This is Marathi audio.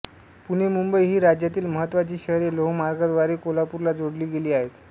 पुणे मुंबई ही राज्यातील महत्त्वाची शहरे लोहमार्गाद्वारे कोल्हापूरला जोडली गेली आहेत